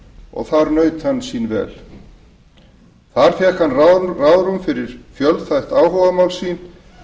og þar naut hann sín vel þar fékk hann ráðrúm fyrir fjölþætt áhugamál sín